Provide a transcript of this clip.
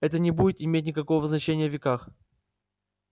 это не будет иметь никакого значения веках